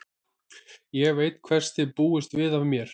Ég veit hvers þið búist við af mér.